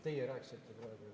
Teie rääkisite praegu!